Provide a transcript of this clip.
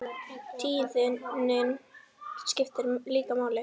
Tíðnin skiptir líka máli.